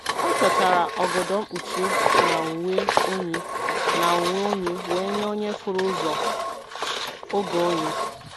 Ọ chọtara ogodo mkpuchi na uwe oyi na uwe oyi wee nye onye furu ụzọ oge oyi.